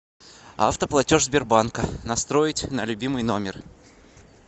автоплатеж сбербанка настроить на любимый номер